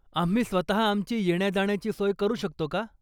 आम्ही स्वतः आमची येण्या जाण्याची सोय करू शकतो का?